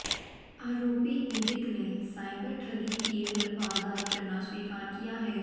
आरोपी ईरिक ने साइबर ठगी की वारदात करना स्वीकार किया है